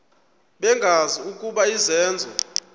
bengazi ukuba izenzo